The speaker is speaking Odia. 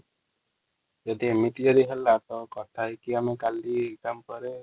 ଯଦି ଅମିତି ଯଦି ହେଲା ତ କଥା ହେଇକି ମୁ କାଲି ଏଗଜାମ ପରେ |